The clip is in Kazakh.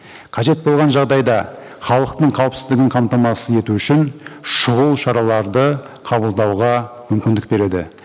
қажет болған жағдайда халықтың қауіпсіздігін қамтамасыз ету үшін шұғыл шараларды қабылдауға мүмкіндік береді